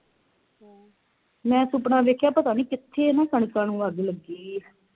ਮੈਂ ਸੁਪਨਾ ਵੇਖਿਆ ਪਤਾ ਨੀ ਕਿਥੇ ਨਾ ਕਣਕਾਂ ਨੂੰ ਅੱਗ ਲੱਗੀ ਹੀ